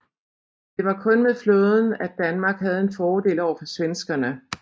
Det var kun med flåden at Danmark havde en fordel overfor svenskerne